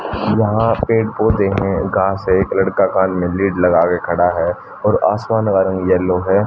यहां पेड़-पौधे हैं घास है एक लड़का कान में लीड लगा के खड़ा है और आसमान का रंग येलो है।